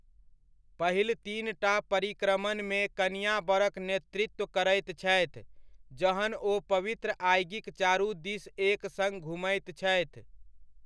पहिल तीनटा परिक्रमणमे कनिआँ बरक नेतृत्व करैत छथि, जहन ओ पवित्र आगिक चारु दीस एक सङ्ग घुमैत छथि।